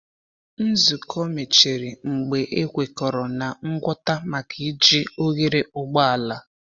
Nzukọ mechịrị mgbe a kwekọrọ na ngwọta maka iji oghere ụgbọala.